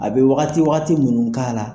A bɛ wagati wagati minnu k'a la,